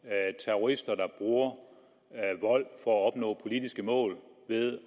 terrorister der bruger vold for at opnå politiske mål ved